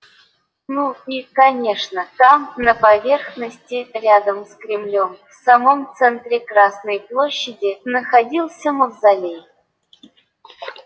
ну и конечно там на поверхности рядом с кремлём в самом центре красной площади находился мавзолей